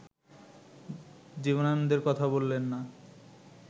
জীবনানন্দের কথা বললেন না